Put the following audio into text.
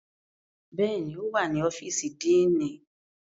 Bẹ́ẹ̀ni, o wa ni ọfiisi Díínì.